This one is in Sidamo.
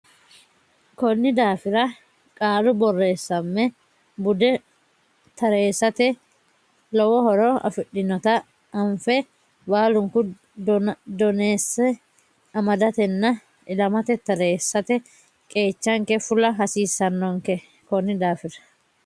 Konni daafira qaalu borreessamme bude tareessate lowo horo afidhinota anfe baalunku doneesse amadatenna ilamate tareessate qeechanke fula hasiissannonke Konni daafira.